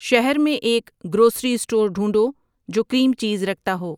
شہر میں ایک گروسری استور ڈھونڈو جو کریم چیز رکھتا ہو